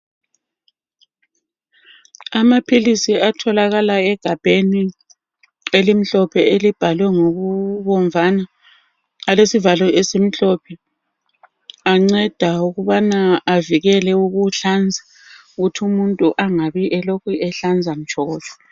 Amaphilisi atholakala egabheni elimhlophe elibhalwe ngokubomvana alesivalo esimhlophe, anceda ukubana avikele ukuhlanza ukuthi umuntu angabi elokhu ehlanza mtshokotsho.